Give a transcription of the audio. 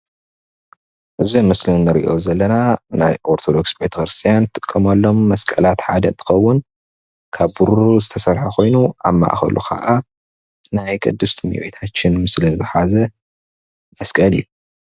እዚ መስሊ እንሪኦ ዘለና ናይ አርቶዶክስ ቤተክርስትያነ ዝጥቀመሎም መስቀላት ሓደ እንትከውን ካብ ብሩሩ ዝተስርሐ ኮይኑ አብ ማእከሉ ከአ ናይ ቅድስቲ እምቤታችን ምስሊ ዝሓዘ መስቀል እዩ፡፡